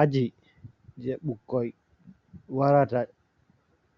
Aji je bukkoi warata